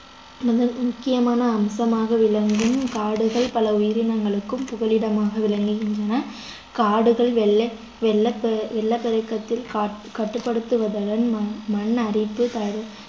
முத~ முக்கியமான அம்சமாக விளங்கும் காடுகள் பல உயிரினங்களுக்கும் புகலிடமாக விளங்குகின்றன காடுகள் வெள்ளை வெள்ள~ வெள்ளப்பெருக்கத்தில் கா~ கட்டுப்படுத்துவதுடன் மண் அரிப்பு தடு~